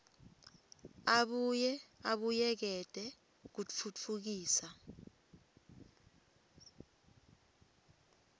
abuye abuyekete kutfutfukisa